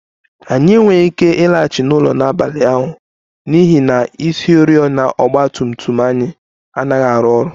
Anyị enweghị ike ịlaghachi n'ụlọ n'abalị ahụ n'ihi na isioriọna nke ọgba tum tum anyị anaghị arụ ọrụ